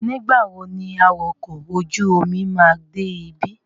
Nígbà wo ni awakọ̀ ojú-omi máa dé ibí?